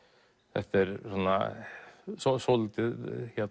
þetta er svona svolítið